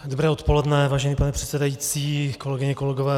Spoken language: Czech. Dobré odpoledne, vážený pane předsedající, kolegyně, kolegové.